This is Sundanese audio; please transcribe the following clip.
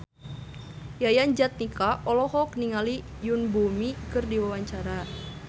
Yayan Jatnika olohok ningali Yoon Bomi keur diwawancara